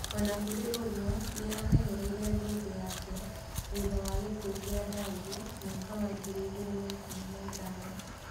O na kũrĩ ũguo, nĩ amenyereire thũmbĩ yake thutha wa gĩkuũ kĩa Dangi mwaka wa ngiri igĩrĩ na ikũmi na ithano.